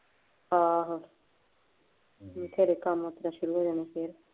ਆਹੋ ਘਰੇ ਕੰਮ ਕੁੱਛ ਨਹੀਂ ਹੁਣ ਫੇਰ